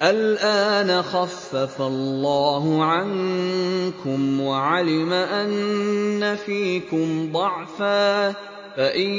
الْآنَ خَفَّفَ اللَّهُ عَنكُمْ وَعَلِمَ أَنَّ فِيكُمْ ضَعْفًا ۚ فَإِن